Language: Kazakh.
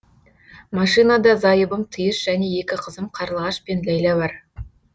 машинада зайыбым тиыш және екі қызым қарлығаш пен ләйла бар